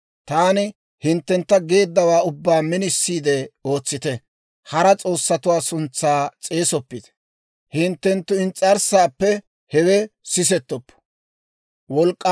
«Taani hinttentta geeddawaa ubbaa minisiide ootsite; hara s'oossatuwaa suntsaa s'eesoppite; hinttenttu ins's'arssaappe hewe sisettoppo.